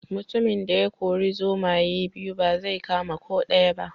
Mutumin da ya kori zomaye biyu ba zai kama ko daya ba